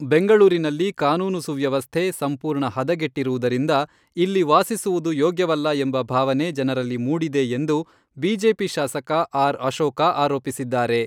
ಬೆಂಗಳೂರಿನಲ್ಲಿ ಕಾನೂನು ಸುವ್ಯವಸ್ಥೆ ಸಂಪೂರ್ಣ ಹದಗೆಟ್ಟಿರುವುದರಿಂದ ಇಲ್ಲಿ ವಾಸಿಸುವುದು ಯೋಗ್ಯವಲ್ಲ ಎಂಬ ಭಾವನೆ ಜನರಲ್ಲಿ ಮೂಡಿದೆ ಎಂದು ಬಿಜೆಪಿ ಶಾಸಕ ಆರ್. ಅಶೋಕ ಆರೋಪಿಸಿದ್ದಾರೆ.